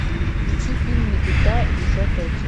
включи фильм никита десятая часть